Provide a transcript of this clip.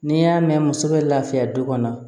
N'i y'a mɛn muso bɛ laafiya du kɔnɔ